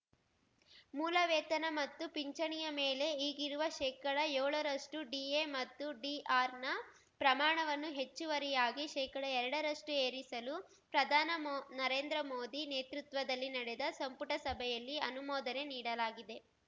ಮೂಲ ವೇತನ ಮತ್ತು ಪಿಂಚಣಿಯ ಮೇಲೆ ಈಗಿರುವ ಶೇಕಡಯೋಳರಷ್ಟುಡಿಎ ಮತ್ತು ಡಿಆರ್‌ನ ಪ್ರಮಾಣವನ್ನು ಹೆಚ್ಚುವರಿಯಾಗಿ ಶೇಕಡಎರಡರಷ್ಟುಏರಿಸಲು ಪ್ರಧಾನ ಮೋ ನರೇಂದ್ರ ಮೋದಿ ನೇತೃತ್ವದಲ್ಲಿ ನಡೆದ ಸಂಪುಟ ಸಭೆಯಲ್ಲಿ ಅನುಮೋದನೆ ನೀಡಲಾಗಿದೆ